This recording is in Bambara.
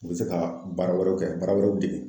U bɛ se ka baara wɛrɛw kɛ, baara wɛrɛw dege